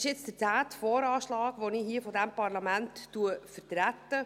Dies ist der zehnte VA, den ich vor diesem Parlament vertrete.